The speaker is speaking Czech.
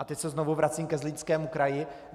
A teď se znovu vracím ke Zlínskému kraji.